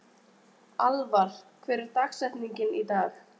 Alvar, hver er dagsetningin í dag?